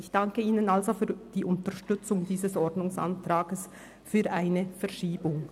Ich danke Ihnen für die Unterstützung dieses Ordnungsantrags auf eine Verschiebung.